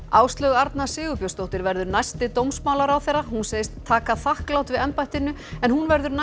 Áslaug Arna Sigurbjörnsdóttir verður næsti dómsmálaráðherra hún segist taka þakklát við embættinu en hún verður